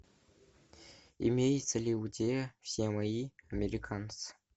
имеется ли у тебя все мои американцы